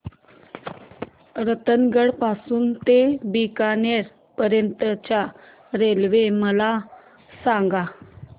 रतनगड पासून ते बीकानेर पर्यंत च्या रेल्वे मला सांगा